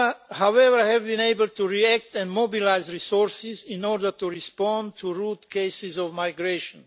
However, we have been able to react and mobilise resources in order to respond to root cases of migration.